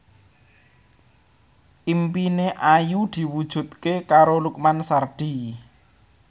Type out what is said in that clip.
impine Ayu diwujudke karo Lukman Sardi